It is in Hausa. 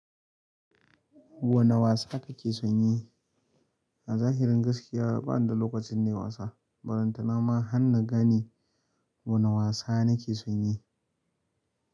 Wane wasa kake son yi. A zahirin gaskiya bani da da lokacin nayi wasa, ballanta na ma har na gani wani wasa nake son yi.